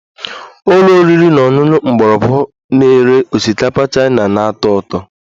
Ụlọ oriri na ọṅụṅụ mgbọrọgwụ na-ere osikapa Chaina na-atọ ụtọ